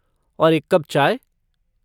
और एक कप चाय?